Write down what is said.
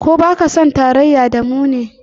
Ko ba ka son tarayya da mu ne?